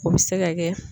O bɛ se ka kɛ